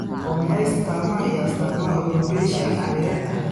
Waa maxay astamaha iyo astaamaha alopecia areata?